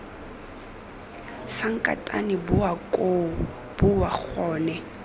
sankatane boa koo boa gone